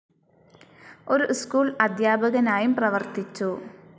ഒരു സ്കൂൾ അധ്യാപകനായും പ്രവർത്തിച്ചു.